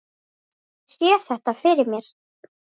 Ég sé þetta fyrir mér.